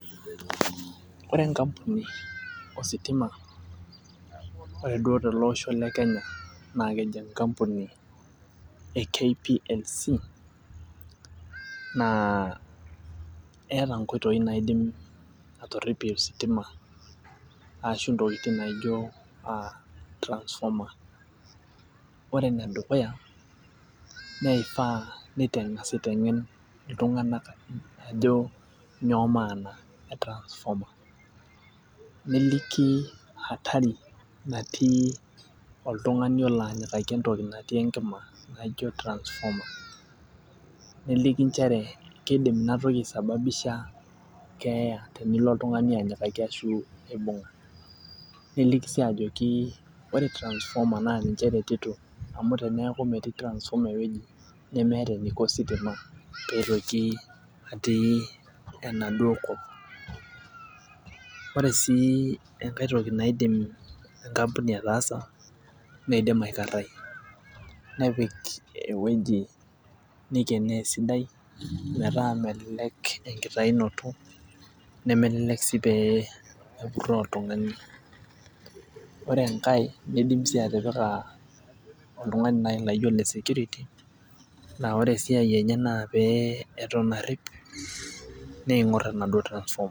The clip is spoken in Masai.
Ore enkampuni ositima ore duo tele osho le kenya naa keji enkampuni e KPLC naa eeta inkoitoi naidim atorripie ositima ashu intokitin naijio uh transformer ore enedukuya neifaa neitang'as aiteng'en iltung'anak ajo nyoo maana e transformer niliki hatari natii oltung'ani olo anyikaki entoki natii enkima naijo transformer neliki inchere keidim inatoki ae sababisha keeya tenilo oltung'ani anyikaki ashu aibung' niliki sii ajoki ore trasformer naa ninche eretito amu teneaku metii transformer ewueji nemeeta eniko ositima peitoki atii enaduo kop ore sii enkae toki naidim enkampuni ataasa neidim aekarrai nepik ewueji neikenoo esidai metaa melelek enkitainoto nemelelek sii pee epurroo oltung'ani ore enkae neidim sii atipika oltung'ani naaji laijo ole security naa ore esiai enye naa pee eton arrip neing'orr enaduo trasformer.